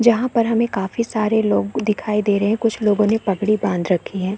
यहाँ पर हमें काफी सारे लोग दिखाई दे रहे हैं कुछ लोगो पगड़ी बांध रखी है।